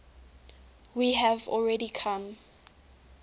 we have already come